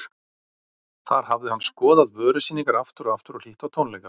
Þar hafði hann skoðað vörusýningar aftur og aftur og hlýtt á tónleika.